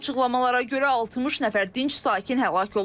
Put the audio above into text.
İlkin açıqlamalara görə 60 nəfər dinc sakin həlak olub.